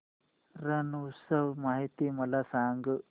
रण उत्सव माहिती मला सांग